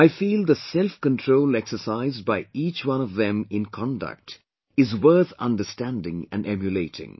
I feel the selfcontrol exercised by each one of them in conduct is worth understanding and emulating